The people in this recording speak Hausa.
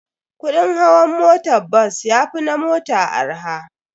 Kudin hawan motan bas yafi na mota arha.